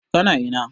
Ka na ina?